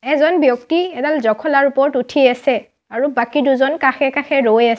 এজন ব্যক্তি এডাল জখলাৰ ওপৰত উঠি আছে আৰু বাকী দুজন কাষে-কাষে ৰৈ আছে।